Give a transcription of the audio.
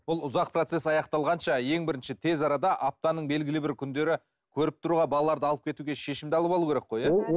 бұл ұзақ процесс аяқталғанша ең бірінші тез арада аптаның белгілі бір күндері көріп тұруға балаларды алып кетуге шешімді алып алу керек қой иә